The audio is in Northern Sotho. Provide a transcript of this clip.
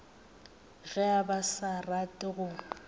ge ba sa rate go